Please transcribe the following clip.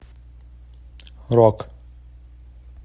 рок